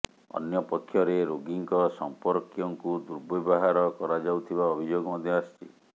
ଅନ୍ୟପକ୍ଷରେ ରୋଗୀଙ୍କ ସମ୍ପର୍କୀୟଙ୍କୁ ଦୁର୍ବ୍ୟବହାର କରାଯାଉଥିବା ଅଭିଯୋଗ ମଧ୍ୟ ଆସିଛି